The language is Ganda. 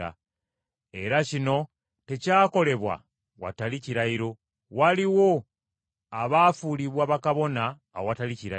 Era kino tekyakolebwa watali kirayiro. Waliwo abaafuulibwa bakabona awatali kirayiro,